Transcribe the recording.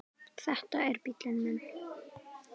Þetta er bíllinn minn